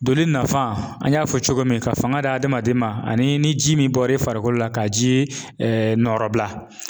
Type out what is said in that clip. Donni nafa an y'a fɔ cogo min ka fanga di adamaden ma ani ni ji min bɔra i farikolo la ka ji nɔrɔbila